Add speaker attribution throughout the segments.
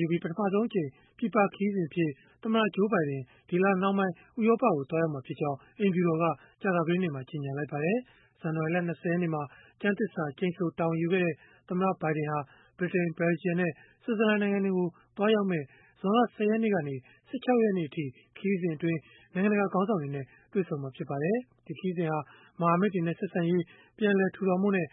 Speaker 1: ယူပြီး ပထမဆုံးအကြိမ် ပြည်ပခရီးစဉ်အဖြစ် သမ္မတ Joe Biden ဒီလနှောင်းပိုင်း ဥရောပကို သွားရောက်မှာ ဖြစ်ကြောင်း အိမ်ဖြူတော်က ကြာသပတေးနေ့မှာ ကြေညာလိုက်ပါတယ်။ ဇန်နဝါရီလ ၂၀ ရက်နေ့မှာ ကျမ်းသစ္စာကျိန်ဆို တာဝန်ယူခဲ့တဲ့ သမ္မတဘိုင်ဒင်ဟာ ဗြိတိန်၊ ဘယ်လ်ဂျီယံနဲ့ ဆွစ်ဇာလန် နိုင်ငံတွေကို သွားရောက်မယ့် ဇွန်လ ၁၀ ရက်ကနေ ၁၆ ရက်နေ့အထိ ခရီးစဉ်အတွင်း နိုင်ငံတကာ ခေါင်းဆောင်တွေနဲ့ တွေ့ဆုံမှာ ဖြစ်ပါတယ်။ ဒီခရီးစဉ်ဟာ မဟာမိတ်တွေနဲ့ ဆက်ဆံရေး ပြန်လည်ထူထောင်ဖို့နဲ့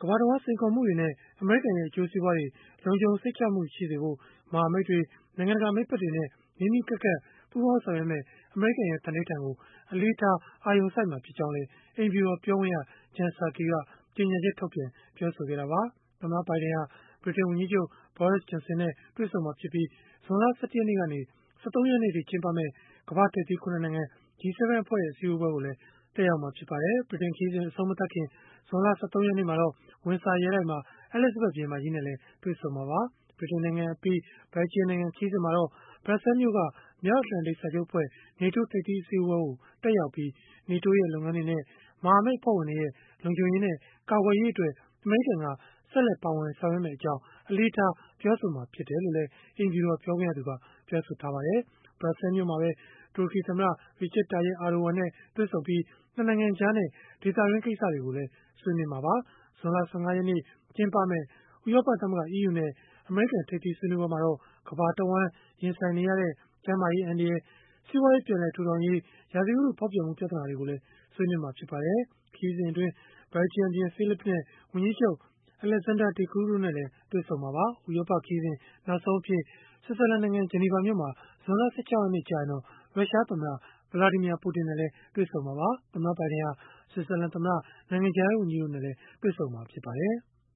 Speaker 1: ကမ္ဘာတဝန်း စိန်ခေါ်မှုတွေနဲ့ အမေရိကန်ရဲ့ အကျိုးစီးပွားတွေ လုံခြုံစိတ်ချရစေဖို့ မဟာမိတ်တွေ၊ နိုင်ငံတကာ မိတ်ဖက်တွေနဲ့ နီးနီးကပ်ကပ် ပူးပေါင်းဆောင်ရွက်မယ့် အမေရိကန်ရဲ့ သန္နိဌာန်ကို အလေးထား အာရုံစိုက်သွားမှာ ဖြစ်ကြောင်းလည်း အိမ်ဖြူတော် ပြောခွင့်ရ Jen Psaki က ကြေညာချက်ထုတ်ပြန် ပြောဆိုခဲ့တာပါ။ သမ္မတဘိုင်ဒင်ဟာ ဗြိတိန်ဝန်ကြီးချုပ် Boris Johnson နဲ့ တွေ့ဆုံမှာဖြစ်ပြီး၊ ဇွန်လ ၁၁ ရက်ကနေ ၁၃ ရက်နေ့အထိ ကျင်းပမယ့် ကမ္ဘာ့ထိပ်သီး ၇ နိုင်ငံ G7 အဖွဲ့ရဲ့ အစည်းအဝေးကိုလည်း တက်ရောက်မှာ ဖြစ်ပါတယ်။ ဗြိတိန်နိုင်ငံ ခရီးစဉ် အဆုံးမသတ်ခင် ဇွန်လ ၁၃ ရက်နေ့မှာတော့ ဝင်ဆာရဲတိုက်မှာ အဲလိဇဘတ်ဘုရင်မကြီးနဲ့လည်း တွေ့ဆုံမှာပါ။ ဗြိတိန်နိုင်ငံအပြီး ဘယ်လ်ဂျီယံနိုင်ငံ ခရီးစဉ်မှာတော့ ဘရပ်ဆဲလ်မြို့က မြောက်အတ္တလန်တိတ်စာချုပ်အဖွဲ့ (NATO) ထိပ်သီးအစည်းအဝေးကို တက်ရောက်ပြီး NATO ရဲ့ လုပ်ငန်းတွေနဲ့ မဟာမိတ်အဖွဲ့ဝင်တွေရဲ့ လုံခြုံရေးနဲ့ ကာကွယ်ရေးအတွက် အမေရိကန်က ဆက်လက် ပါဝင်ဆောင်ရွက်သွားမယ့် အကြောင်း အလေးထား ပြောဆိုမှာ ဖြစ်တယ်လို့လည်း အိမ်ဖြူတော် ပြောခွင့်ရက ပြောပါတယ်။ ဘရပ်ဆဲလ်မှာပဲ တူရကီသမ္မတ Recep Tayyip Erdogan နဲ့ တွေ့ဆုံပြီး ၂ နိုင်ငံကြားနဲ့ ဒေသတွင်းကိစ္စတွေကို ဆွေးနွေးမှာပါ။ ဇွန်လ ၁၅ ရက်နေ့ ကျင်းပမယ့် ဥရောပသမဂ္ဂ (EU) နဲ့ အမေရိကန် ထိပ်သီးဆွေးနွေးပွဲမှာတော့ ကမ္ဘာတဝန်း ရင်ဆိုင်နေရတဲ့ ကျန်းမာရေး အန္တရာယ်၊ စီးပွားရေး ပြန်လည်ထူရေး၊ ရာသီဥတု ဖောက်ပြန်မှု ပြဿနာတွေကိုလည်း ဆွေးနွေးမှာ ဖြစ်ပါတယ်။ ခရီးစဉ်အတွင်း ဘယ်လ်ဂျီယံဘုရင် Philippe နဲ့ ဝန်ကြီးချုပ် Alexander De Croo တို့နဲ့လည်း တွေ့ဆုံမှာပါ။ ဥရောပခရီးစဉ် နောက်ဆုံးအဖြစ် ဆွစ်ဇာလန်နိုင်ငံ ဂျနီဗာမြို့မှာ ဇွန်လ ၁၆ ရက်နေ့ ကျရင်တော့ ရုရှားသမ္မတ Vladimir Putin နဲ့ တွေ့ဆုံမှာပါ။ သမ္မတဘိုင်ဒင်ဟာ ဆွစ်ဇာလန်သမ္မတ၊ နိုင်ငံခြားရေး ဝန်ကြီးတို့နဲ့လည်း တွေ့ဆုံမှာ ဖြစ်ပါတယ်။